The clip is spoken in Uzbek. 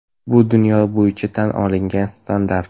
Bu dunyo bo‘yicha tan olingan standart.